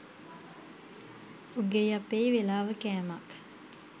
උගෙයි අපෙයි වෙලාව කෑමක්